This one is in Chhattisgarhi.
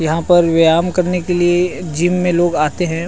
यहाँ पर व्ययाम करने के लिए जिम में लोग आते है।